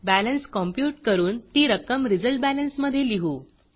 balance compute करून ती रक्कम resultBalanceरिज़ल्ट बॅलेन्स मधे लिहू